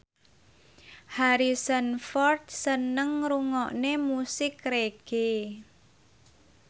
Harrison Ford seneng ngrungokne musik reggae